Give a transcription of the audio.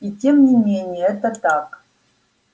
и тем не менее это так